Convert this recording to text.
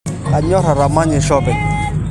Kanyor atamanyisho apeny